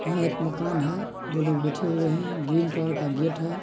यह एक मकान है दो लोग बेठे हुए हैं। ग्रीन कलर का गेट है।